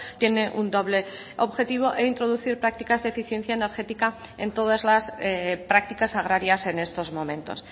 tiene un doble objetivo e introducir prácticas de eficiencia energética en todas las prácticas agrarias en estos momentos